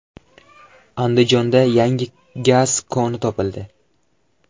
Andijonda yangi gaz koni topildi.